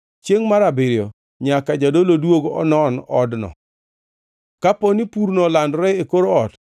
Chiengʼ mar abiriyo nyaka jadolo duog manon odno. Kaponi purno olandore e kor ot,